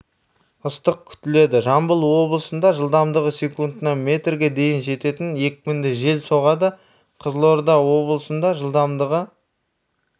ыстық күтіледі жамбыл облысында жылдамдығы секундына метрге дейін жететін екпінді жел соғады қызылорда облысында жылдамдығы